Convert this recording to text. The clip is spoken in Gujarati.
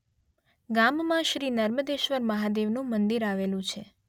ગામમાં શ્રી નર્મદેશ્વર મહાદેવનું મંદિર આવેલુ છે.